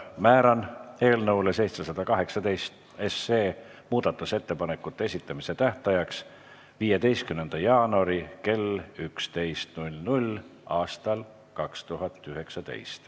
Määran eelnõu 718 muudatusettepanekute esitamise tähtajaks 15. jaanuari kell 11 aastal 2019.